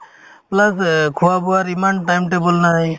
plus অ খোৱা-বোৱাৰ ইমান time table নাই